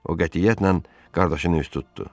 O qətiyyətlə qardaşının üst tutdu.